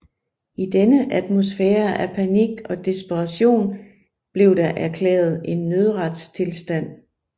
I denne atmosfære af panik og desperation blev der erklæret en nødretstilstand